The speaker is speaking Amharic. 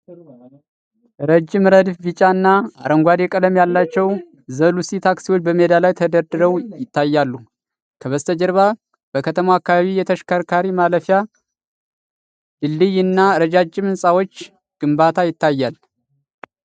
ረጅም ረድፍ ቢጫ እና አረንጓዴ ቀለም ያላቸው "Ze-Lucy" ታክሲዎች በሜዳ ላይ ተደርድረው ይታያሉ። ከበስተጀርባ በከተማው አካባቢ የተሽከርካሪ ማለፊያ ድልድይ እና የረጃጅም ህንፃዎች ግንባታ ይታያል።